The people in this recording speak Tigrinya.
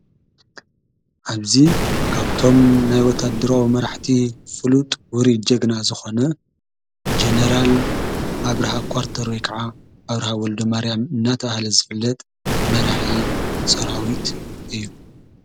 ኣብዙ ካብቶም ናይ ወታደረዊ መራዕቲ ፍሉጥ ውሪ ጀግና ዝኾነ ጀኔራል ኣብርሃ ቋርተ ከዓ ኣብርሃ ወልዶ ማርያም እናታ ሃለ ዘፍለጥ መራሕ ሰራዊት እዩ።